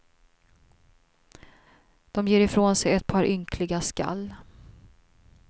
De ger ifrån sig ett par ynkliga skall.